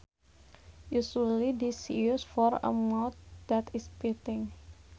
Usually this is used for a mouth that is biting